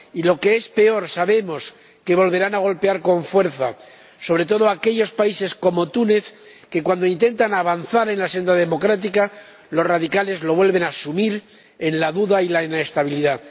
Y, lo que es peor, sabemos que volverán a golpear con fuerza, sobre todo a aquellos países como Túnez que, cuando intentan avanzar en la senda democrática, los radicales vuelven a sumir en la duda y la inestabilidad.